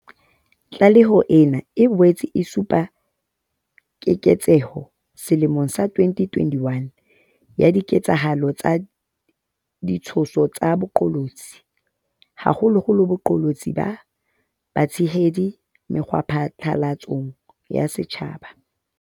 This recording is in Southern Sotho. Tlaleho ena e boetse e supa keketseho selemong sa 2021 ya diketsahalo tsa ditshoso tsa baqolotsi, haholoholo baqolotsi ba batshehadi mekgwaphatlalatsong ya setjhaba.